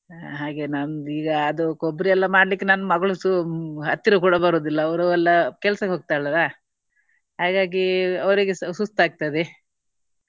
ಹಾಗೆ ನಮ್ದೀಗ ಅದು ಕೊಬ್ಬರಿ ಎಲ್ಲಾ ಮಾಡ್ಲಿಕ್ಕೆ ನನ್ನ ಮಗಳು ಸೋ~ ಹತ್ತಿರ ಕೂಡ ಬರುವುದಿಲ್ಲ. ಅವರು ಎಲ್ಲಾ ಕೆಲ್ಸಕ್ಕೆ ಹೋಗ್ತಾಳೆ ಅಲ್ಲಾ. ಹಾಗಾಗಿ ಅವರಿಗೆ ಸಹ ಸುಸ್ತು ಆಗ್ತದೆ.